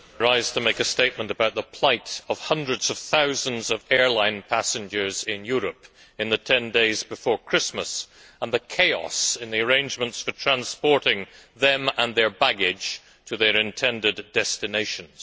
Mr President, I rise to make a statement about the plight of hundreds of thousands of airline passengers in Europe in the 10 days before Christmas and the chaos in the arrangements for transporting them and their baggage to their intended destinations.